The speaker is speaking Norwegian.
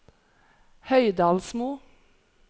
Høydalsmo